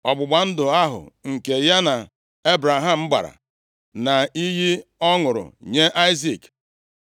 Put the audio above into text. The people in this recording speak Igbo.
Ọgbụgba ndụ ahụ nke ya na Ebraham gbara, na iyi ọ ṅụrụ nye Aịzik.